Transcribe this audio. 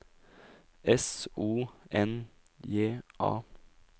S O N J A